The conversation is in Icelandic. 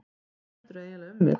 Hvað heldurðu eiginlega um mig!